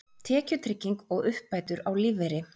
Tekjutrygging og uppbætur á lífeyri.